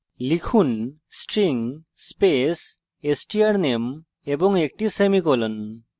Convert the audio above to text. লিখুন string space strname এবং একটি semicolon